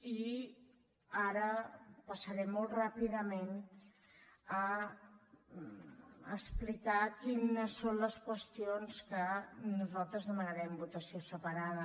i ara passaré molt ràpida·ment a explicar quines són les qüestions de què nosal·tres demanarem votació separada